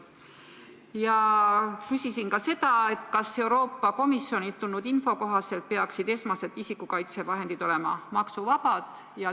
Ja ma küsisin ka selle kohta, kas Euroopa Komisjonilt tulnud info kohaselt peaksid esmased isikukaitsevahendid olema maksuvabad.